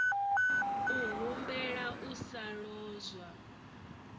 u humbela u sa lozwa